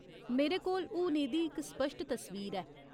मेरे कोल हून एह्दी इक स्पश्ट तस्वीर ऐ।